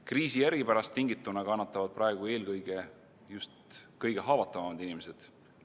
Kriisi eripärast tingituna kannatavad praegu eelkõige just kõige haavatavamad inimesed.